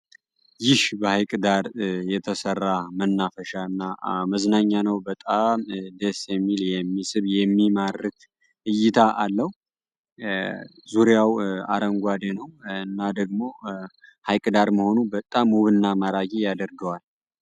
ይህ በሀይቅ ዳር የተሰራ መናፈሻ እና መዝናኛ ነው በጣም ደስ የሚል የሚስብ የሚማርክ እይታ አለው። ዙሪያው አረንጓዴ ነው እና ደግሞ ሀዬቅ ዳር መሆኑ በጣም ውብ እና ማራኪ ያደርገዋል።